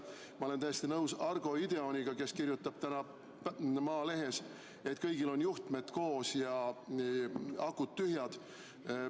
Ma olen täiesti nõus Argo Ideoniga, kes kirjutab tänases Maalehes, et kõigil on juhtmed koos ja akud tühjad.